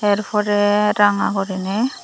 er porey ranga gori nei.